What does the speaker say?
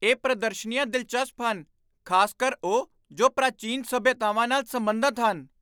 ਇਹ ਪ੍ਰਦਰਸ਼ਨੀਆਂ ਦਿਲਚਸਪ ਹਨ, ਖ਼ਾਸਕਰ ਉਹ ਜੋ ਪ੍ਰਾਚੀਨ ਸਭਿਅਤਾਵਾਂ ਨਾਲ ਸਬੰਧਤ ਹਨ।